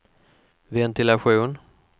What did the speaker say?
ventilation